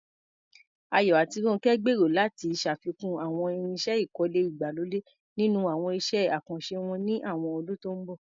Ayo àti Ronke gbèrò láti ṣàfikún àwọn irinṣẹ́ ìkọ́lé ìgbàlódé nínú àwọn iṣẹ́ àkànṣe wọn ní àwọn ọdún tó ń bọ̀.